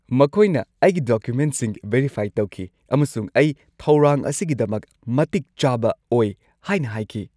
ꯃꯈꯣꯏꯅ ꯑꯩꯒꯤ ꯗꯣꯀꯨꯃꯦꯟꯠꯁꯤꯡ ꯚꯦꯔꯤꯐꯥꯏ ꯇꯧꯈꯤ ꯑꯃꯁꯨꯡ ꯑꯩ ꯊꯧꯔꯥꯡ ꯑꯁꯤꯒꯤꯗꯃꯛ ꯃꯇꯤꯛ ꯆꯥꯕ ꯑꯣꯏ ꯍꯥꯏꯅ ꯍꯥꯏꯈꯤ꯫